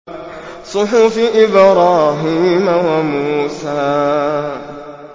صُحُفِ إِبْرَاهِيمَ وَمُوسَىٰ